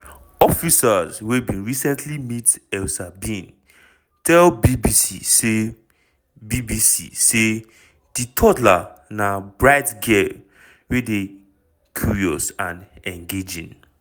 officers wey bin recently meet elsa bin tell bbc say bbc say di toddler na bright girl wey dey curious and engaging.